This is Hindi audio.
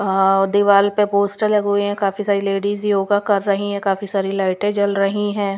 अ दीवार पर पोस्टर लगे हुए हैं काफी सारी लेडीज योगा कर रही है काफी सारी लाइटें जल रही हैं.